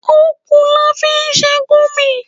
Okùn la fi sè Gurmí